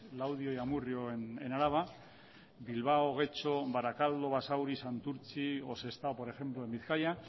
laudio y amurrio en araba bilbao getxo barakaldo basauri santurtzi o sestao por ejemplo en bizkaia